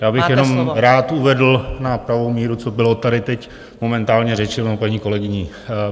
Já bych jenom rád uvedl na pravou míru, co bylo tady teď momentálně řečeno paní kolegyní.